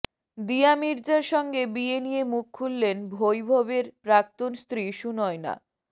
দিয়া মির্জার সঙ্গে বিয়ে নিয়ে মুখ খুললেন বৈভবের প্রাক্তন স্ত্রী সুনয়না